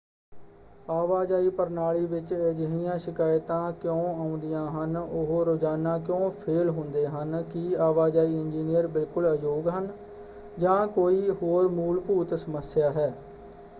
ਆਵਾਜਾਈ ਪ੍ਰਣਾਲੀ ਵਿੱਚ ਅਜਿਹੀਆਂ ਸ਼ਿਕਾਇਤਾ ਕਿਉਂ ਆਉਂਦੀਆਂ ਹਨ ਉਹ ਰੋਜ਼ਾਨਾ ਕਿਉਂ ਫੇਲ੍ਹ ਹੁੰਦੇ ਹਨ? ਕੀ ਆਵਾਜਾਈ ਇੰਜੀਨੀਅਰ ਬਿਲਕੁਲ ਅਯੋਗ ਹਨ? ਜਾਂ ਕੋਈ ਹੋਰ ਮੂਲਭੁਤ ਸਮੱਸਿਆ ਹੈ?